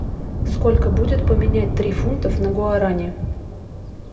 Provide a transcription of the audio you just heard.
сколько будет поменять три фунтов на гуарани